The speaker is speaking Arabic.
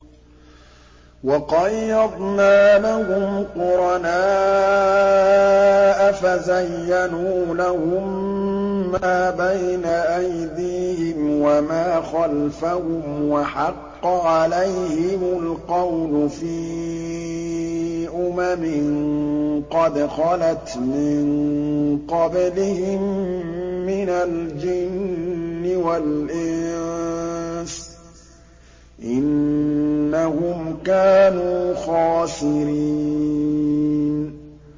۞ وَقَيَّضْنَا لَهُمْ قُرَنَاءَ فَزَيَّنُوا لَهُم مَّا بَيْنَ أَيْدِيهِمْ وَمَا خَلْفَهُمْ وَحَقَّ عَلَيْهِمُ الْقَوْلُ فِي أُمَمٍ قَدْ خَلَتْ مِن قَبْلِهِم مِّنَ الْجِنِّ وَالْإِنسِ ۖ إِنَّهُمْ كَانُوا خَاسِرِينَ